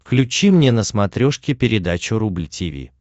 включи мне на смотрешке передачу рубль ти ви